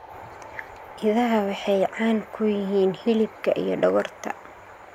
Idaha waxay caan ku yihiin hilibka iyo dhogorta.